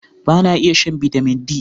Ba na iya shan Bitamin D.